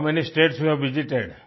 how many states you have visited